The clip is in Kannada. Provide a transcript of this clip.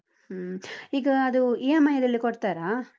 ಹೂಂ, ಈಗ ಅದು EMI ಲೆಲ್ಲಾ ಕೊಡ್ತಾರಾ?